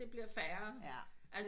men det blvier færre